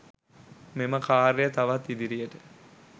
මෙම ක‍ාර්යය තවත් ඉදිරියට